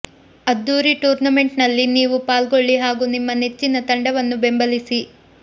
ಅದ್ದೂರಿ ಟೂರ್ನಮೆಂಟ್ ನಲ್ಲಿ ನೀವೂ ಪಾಲ್ಗೊಳ್ಳಿ ಹಾಗೂ ನಿಮ್ಮ ನೆಚ್ಚಿನ ತಂಡವನ್ನು ಬೆಂಬಲಿಸಿ